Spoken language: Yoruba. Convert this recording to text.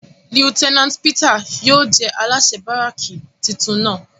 Lieutenant Peters yóò jẹ alaṣẹ baraki titun náa